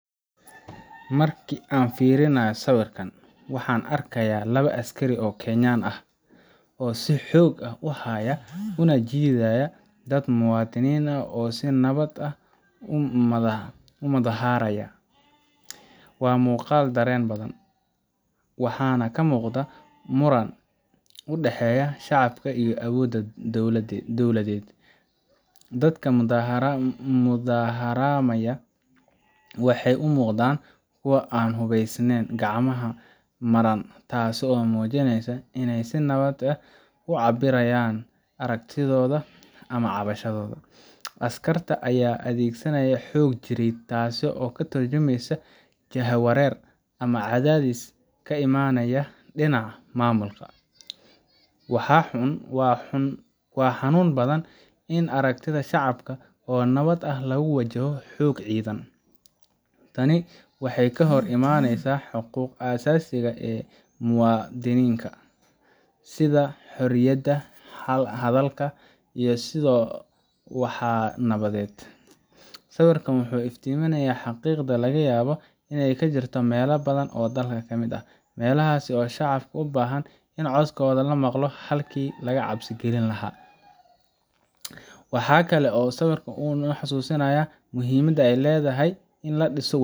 Marka aan fiiriyo sawirkan, waxa aan arkayaa laba askari oo Kenyan ah oo si xoog ah u haya una jiidaya dad muwaadiniin ah oo si nabad ah u mudaharaaya. Waa muuqaal dareen badan leh, waxaana ka muuqda muran u dhexeeya shacabka iyo awoodda dowladeed. Dadka mudaharaamaya waxay u muuqdaan kuwo aan hubeysneyn, gacmahana madhan, taasoo muujinaysa in ay si nabad ah u cabbirayaan aragtidooda ama cabashadooda. Askarta ayaa adeegsanaaya xoog jireed, taasoo ka tarjumaysa jahawareer ama cadaadis ka imanaya dhinaca maamulka. Waa xanuun badan in aragtida shacabka oo nabad ah lagu wajaho xoog ciidan. Tani waxay ka hor imaaneysaa xuquuqda aasaasiga ah ee muwaadinka, sida xorriyadda hadalka iyo isu soo baxa nabadeed. Sawirkan wuxuu iftiiminayaa xaqiiqada laga yaabo inay ka jirto meelo badan oo dalka ka mid ah meelahaas oo shacabka u baahan in codkooda la maqlo halkii laga cabsi gelin lahaa. Waxa kale oo uu sawirkan na xasuusinayaa muhiimadda ay leedahay in la dhiso .